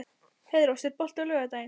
Heiðrós, er bolti á laugardaginn?